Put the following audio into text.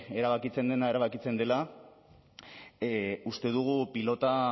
erabakitzen dena erabakitzen dela uste dugu pilota